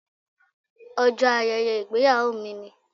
Ọjọ́ ayẹyẹ ìgbéyàwó mi ni.